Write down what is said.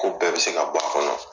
Ko bɛɛ bɛ se ka b'a kɔnɔ